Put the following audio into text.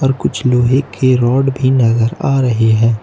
कुछ लोहे की रॉड भी नजर आ रही है।